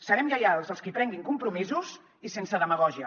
serem lleials als qui prenguin compromisos i sense demagògia